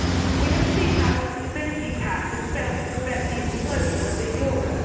We have seen how the Stability Pact has failed to prevent the implosion of the euro.